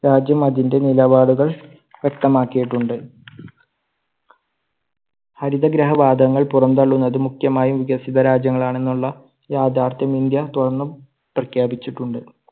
രാജ്യം അതിന്റെ നിലപാടുകൾ വ്യക്തമാക്കിട്ടുണ്ട്. ഹരിതഗൃഹവാതങ്ങൾ പുറംതള്ളുന്നത് മുഖ്യമായും വികസിത രാജ്യങ്ങൾ ആണെന്നുള്ള യാഥ്യാർഥ്യം ഇന്ത്യ തുടർന്നും പ്രഖ്യാപിച്ചിട്ടുണ്ട്.